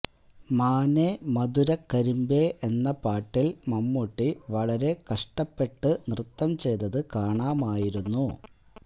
മാനേ മധുരകരിമ്പേ എന്ന പാട്ടില് മമ്മൂട്ടി വളരെ കഷ്ടപ്പെട്ട് നൃത്തം ചെയ്തത് കാണാമായിരുന്നു